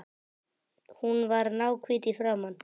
Hún var náhvít í framan.